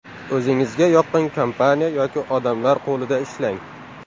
O‘zingizga yoqqan kompaniya yoki odamlar qo‘lida ishlang.